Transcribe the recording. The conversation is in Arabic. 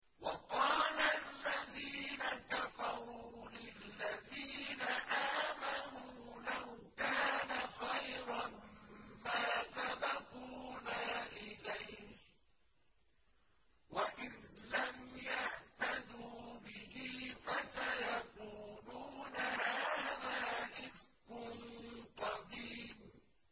وَقَالَ الَّذِينَ كَفَرُوا لِلَّذِينَ آمَنُوا لَوْ كَانَ خَيْرًا مَّا سَبَقُونَا إِلَيْهِ ۚ وَإِذْ لَمْ يَهْتَدُوا بِهِ فَسَيَقُولُونَ هَٰذَا إِفْكٌ قَدِيمٌ